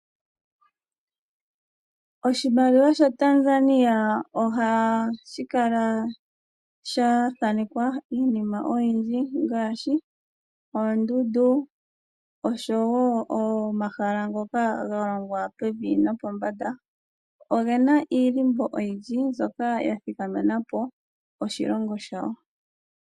Oshimaliwa shaTanzania ohashi kala sha thanekwa iinima oyindji ngaashi oondundu osho wo omahala ngoka ga longwa pevi no pombanda, oge na omadhindhiliko oyindji mbyoka ga thikamena po oshilongo shawo.